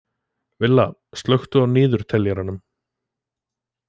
Villa, slökktu á niðurteljaranum.